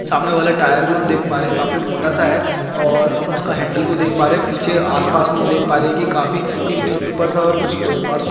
सामने वाला टायर भी हम देख पा रहे है काफी मोटा सा हैऔर हम उसका हैंडल को देख पा रहे है पीछे आस-पास हम देख पा रहे है कि काफी एक न्यूज़पेपर सा और कुछ पेड़ पास--